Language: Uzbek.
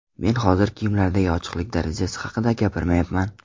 Men hozir kiyimlardagi ochiqlik darajasi haqida gapirmayapman.